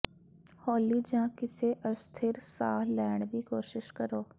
ਹੌਲੀ ਜਾਂ ਕਿਸੇ ਅਸਥਿਰ ਸਾਹ ਲੈਣ ਦੀ ਕੋਸ਼ਿਸ਼ ਕਰੋ